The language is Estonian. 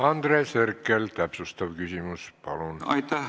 Andres Herkel, täpsustav küsimus, palun!